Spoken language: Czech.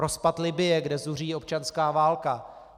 Rozpad Libye, kde zuří občanská válka.